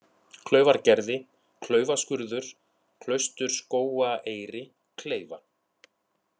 Klaufargerði, Klaufaskurður, Klausturskógaeyri, Kleifa